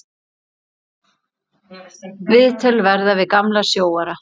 Viðtöl verða við gamla sjóara.